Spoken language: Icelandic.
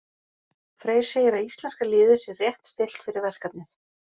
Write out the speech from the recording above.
Freyr segir að íslenska liðið sér rétt stillt fyrir verkefnið.